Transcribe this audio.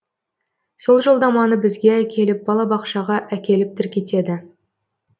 сол жолдаманы бізге әкеліп балабақшаға әкеліп тіркетеді